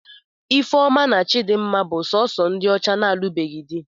Ifeoma na Chidinma bụ sọọsọ ndị ọcha na-alụbeghị di.